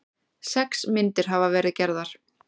Sex myndir hafa verið gerðar